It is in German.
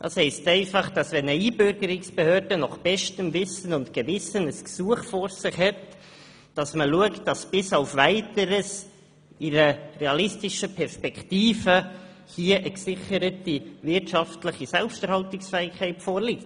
Dies heisst einfach, wenn eine Einbürgerungsbehörde nach bestem Wissen und Gewissen ein Gesuch behandelt, prüft sie ob bis auf Weiteres in einer realistischen Perspektive eine gesicherte wirtschaftliche Selbsterhaltungsfähigkeit vorliegt.